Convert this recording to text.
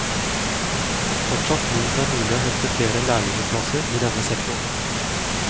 Fortsatt tror hun det er mulig å hente flere lærlingeplasser i denne sektoren.